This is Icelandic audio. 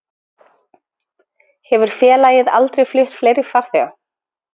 Hefur félagið aldrei flutt fleiri farþega